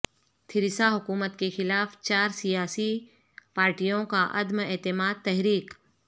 Theresa حکومت کے خلاف چار سیاسی پاریٹیوں کا عدم اعتماد تحریک